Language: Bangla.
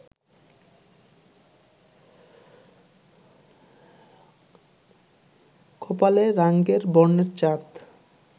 কপালে রাঙ্গের বর্ণের চাঁদ